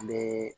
An bɛ